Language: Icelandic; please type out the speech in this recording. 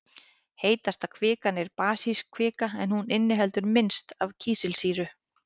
Heitasta kvikan er basísk kvika en hún inniheldur minnst af kísilsýru.